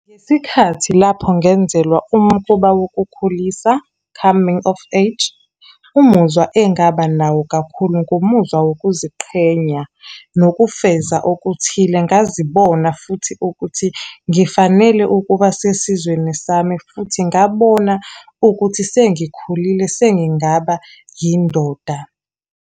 Ngesikhathi lapho ngenzelwa umkhuba wokukhulisa, coming of age, umuzwa engaba nawo kakhulu, ngumuzwa wokuziqhenya, nokufeza okuthile. Ngazibona futhi ukuthi ngifanele ukuba sesizweni sami, futhi ngabona ukuthi sengikhulile, sengingaba yindoda.